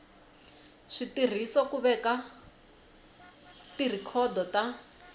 switirhiso ku veka tirhikhodo ta